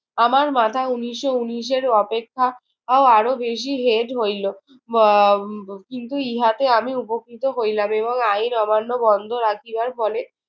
আমার মাথা উনিশশো ঊনিশের অপেক্ষাও আরো বেশি হেট হইল। উম কিন্তু ইহাতে আমি উপকৃত হইলাম এবং আইন অমান্য বন্ধ রাখিবার ফলে